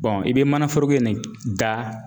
i be mana foroko in ne k da